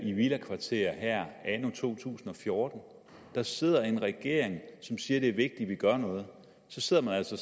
i villakvarterer her anno 2014 der sidder en regering som siger at det er vigtigt at vi gør noget og så sidder man altså